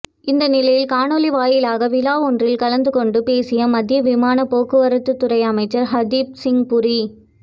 இந்நிலையில் காணொலி வாயிலாக விழா ஒன்றில் கலந்துகொண்டு பேசிய மத்திய விமானப் போக்குவரத்துத் துறை அமைச்சர் ஹர்தீப் சிங் புரி